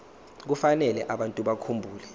kufanele abantu bakhumbule